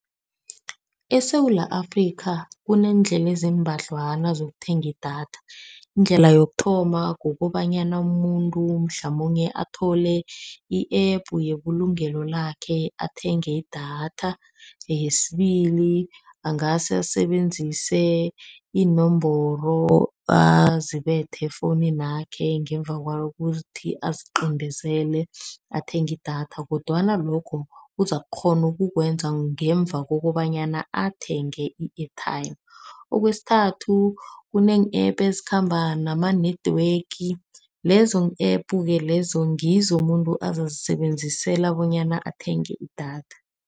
ESewula Afrika, kuneendlela eziimbadlwana ozokuthenga idatha. Indlela yokuthoma, kukobanyana umuntu mhlamunye athole i-App yebulungelo lakhe, athenge idatha. Yesibili, angase asebenzise iinomboro azibethe efowunini yakhe, ngemva kwalokho aziqindezele, athenge idatha. Kodwana lokho, uzakukghona ukukwenza kwangemva kokobanyana athenge i-airtime. Okwesithathu, kunee-App ezikhamba nama-network, lezo-App-ke lezo ngizo muntu azazisebenzisela bonyana athenge idatha.